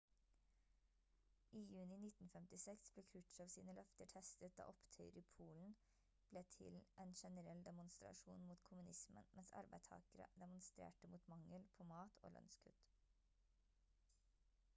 i juni 1956 ble krutsjov sine løfter testet da opptøyer i polen ble til en generell demonstrasjon mot kommunismen mens arbeidstakere demonstrerte mot mangel på mat og lønnskutt